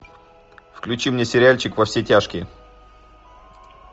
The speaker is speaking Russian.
включи мне сериальчик во все тяжкие